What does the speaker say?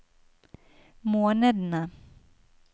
månedene